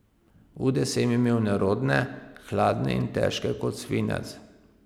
Ude sem imel nerodne, hladne in težke kot svinec.